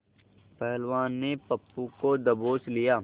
पहलवान ने गप्पू को दबोच लिया